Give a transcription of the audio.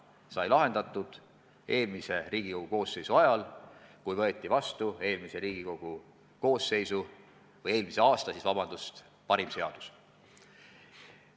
Need sai lahendatud eelmise Riigikogu koosseisu ajal, kui võeti vastu eelmise aasta parim seadus.